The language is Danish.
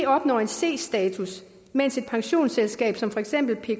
opnår c status mens et pensionsselskab som for eksempel pka